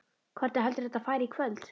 Hvernig heldurðu að þetta fari í kvöld?